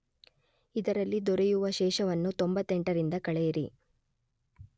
ಇದರಲ್ಲಿ ದೊರೆಯುವ ಶೇಷವನ್ನು 98ರಿಂದ ಕಳೆಯಿರಿ.